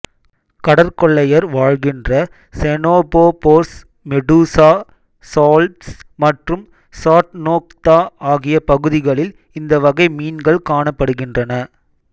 கடற்கொள்ளையர் வாழ்கின்ற ctenophores medusa salps மற்றும் chaetognatha ஆகிய பகுதிகளில் இந்த வகை மீன்கள் காணப்படுகின்றன